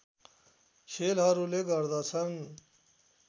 खेलहरूले गर्दछन्